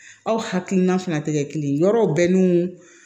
Aw hakilina fana tɛ kɛ kelen ye yɔrɔ bɛnnen